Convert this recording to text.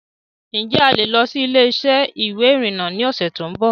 Ǹ jẹ́ a lè lọ síí ilé-isẹ́ ìwé ìrìnà ni ọ̀sẹ̀ tòun bọ̀